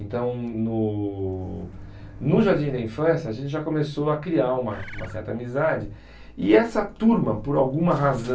Então, no no Jardim da Infância, a gente já começou a criar uma uma certa amizade e essa turma, por alguma razão,